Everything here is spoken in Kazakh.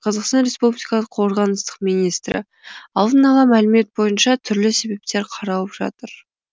қазақстан республикалық қорғаныстық министрі алдын ала мәлімет бойынша түрлі себептер қаралып жатыр